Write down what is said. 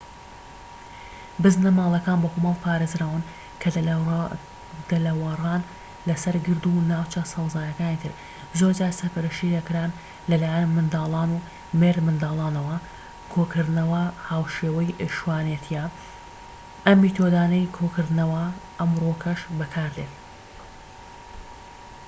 بزنە ماڵیەکان بە کۆمەڵ پارێزراون کە دەلەوەڕان لەسەر گرد و ناوچە سەوزاییەکانی تر زۆرجار سەرپەرشتی دەکران لەلایەن منداڵان و مێردمنداڵانەوە کۆکردنەوە هاوشێوەی شوانێتیە ئەم میتۆدانەی کۆکردنەوە ئەمڕۆکەش بەکاردێت